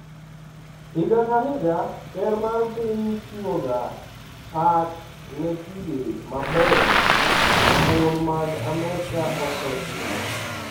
Higa ka higa, ker mar piny chiwoga pak ne tije mabeyo ma mon mag Amerka osetimo.